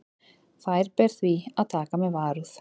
Þær ber því að taka með varúð.